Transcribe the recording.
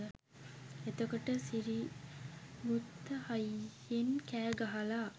එතකොට සිරිගුත්ත හයියෙන් කෑ ගහලා